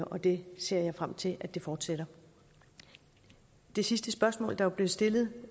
det ser jeg frem til fortsætter det sidste spørgsmål der jo blev stillet